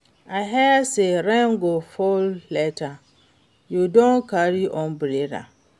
I hear say rain go fall later, you don carry umbrella?